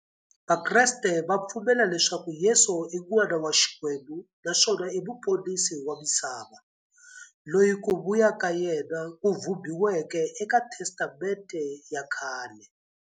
Vakreste va pfumela leswaku Yesu i n'wana wa Xikwembu naswona i muponisi wa misava, loyi ku vuya ka yena ku vhumbiweke eka Testamente ya khale.